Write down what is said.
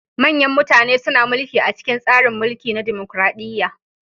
Manyan mutane suna mulki a cikin tsarin mulki na dimokuradiyya.